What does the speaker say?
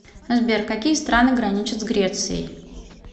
сбер какие страны граничат с грецией